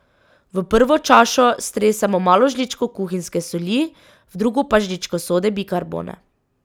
V prvo čašo stresemo malo žličko kuhinjske soli, v drugo pa žličko sode bikarbone.